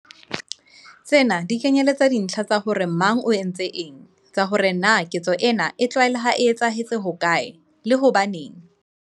Tsena di kenyeletsa dintlha tsa hore mang o entse eng, tsa hore na ketso ena e tlalewang e etsahetse hokae, le hobaneng.